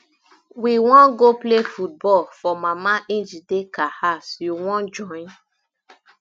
we wan go play football for mama njideka house you wan join